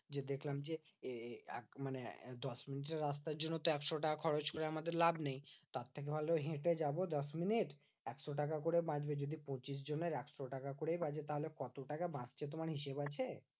যে দেখলাম যে মানে দশমিনিটের রাস্তার জন্য তো একশো টাকা খরচ করে আমাদের লাভ নেই। তার থেকে ভালো হেঁটে যাবো দশমিনিট একশো টাকা করে বাঁচবে। যদি পঁচিশজনের একশো টাকা করেই বাঁচে, তাহলে কত বাঁচছে তোমার হিসেব আছে?